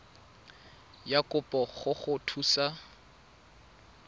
ya kopo go go thusa